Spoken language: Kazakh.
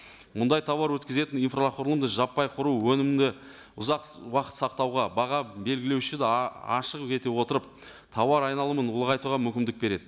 мұндай тауар өткізетін инфрақұрылымды жаппай құру өнімді ұзақ уақыт сақтауға баға белгілеуші де ашық ете отырып тауар айналымын ұлғайтуға мүмкіндік береді